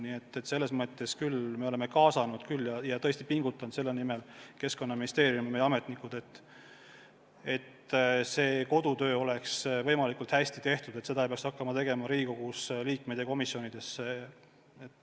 Nii et me oleme kaasanud küll ja tõesti pingutanud selle nimel, et Keskkonnaministeeriumi ametnike kodutöö oleks võimalikult hästi tehtud, et seda ei peaks meie eest hakkama tegema Riigikogu komisjonid ja üldse kõik liikmed.